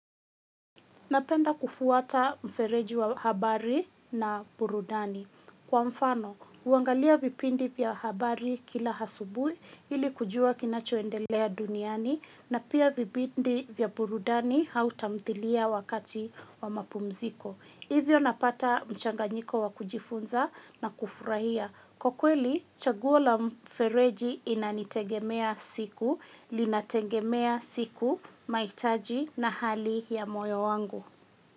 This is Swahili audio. Napenda kufuata mfereji wa habari na burudani. Kwa mfano, huangalia vipindi vya habari kila asubuhi ili kujua kinachoendelea duniani na pia vipindi vya burudani au tamthilia wakati wa mapumziko. Hivyo napata mchanganyiko wa kujifunza na kufurahia. Kwa kweli, chaguo la mfereji inanitegemea siku, linategemea siku, mahitaji na hali ya moyo wangu.